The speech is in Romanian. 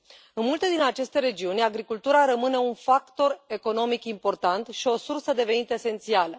În multe din aceste regiuni, agricultura rămâne un factor economic important și o sursă de venit esențială.